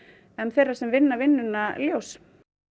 þeirra sem vinna vinnuna ljóst